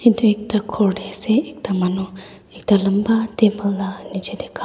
etu ekta ghor tae asa ekta manu ekta lamba table laga nichey kam.